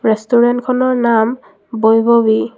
ৰেষ্টোৰেণ্টখনৰ নাম বৈভৱী।